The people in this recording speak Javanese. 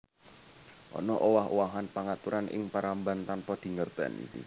Ana owah owahan pangaturan ing paramban tanpa dingertèni